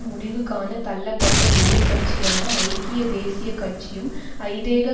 முடிவுகாண தள்ளப்பட்ட எதிர் கட்சியான ஐக்கிய தேசிய கட்சியும் ஐதேக